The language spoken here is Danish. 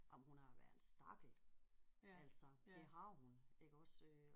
Jamen hun har været en stakkel altså det har hun iggås øh